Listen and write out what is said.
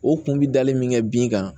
O kun bi dali min kɛ bin kan